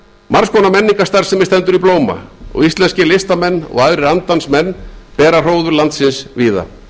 margs konar menningarstarfsemi stendur í blóma og íslenskir listamenn og aðrir andans menn bera hróður landsins víða